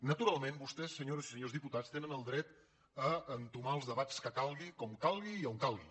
naturalment vostès senyores i senyors diputats tenen el dret a entomar els debats que calgui com calgui i a on calgui